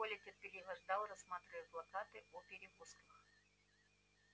коля терпеливо ждал рассматривая плакаты о перевозках